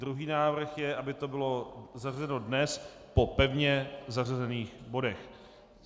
Druhý návrh je, aby to bylo zařazeno dnes po pevně zařazených bodech.